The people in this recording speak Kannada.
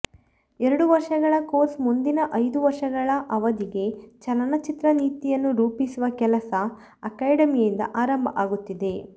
ಎರಡು ವರ್ಷಗಳ ಕೋರ್ಸ್ ಮುಂದಿನ ಐದು ವರ್ಷಗಳ ಅವಧಿಗೆ ಚಲನಚಿತ್ರ ನೀತಿಯನ್ನು ರೂಪಿಸುವ ಕೆಲಸ ಅಕಾಡೆಮಿಯಿಂದ ಆರಂಭ ಆಗುತ್ತಿದೆ